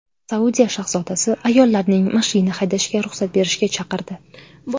Saudiya shahzodasi ayollarning mashina haydashiga ruxsat berishga chaqirdi.